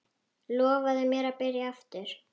Lofaðu mér að byrja aftur!